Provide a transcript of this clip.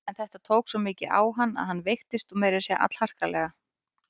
En þetta tók svo mikið á hann að hann veiktist og meira að segja allharkalega.